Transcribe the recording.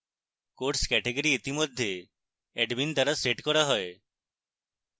course category ইতিমধ্যে admin দ্বারা set করা হয়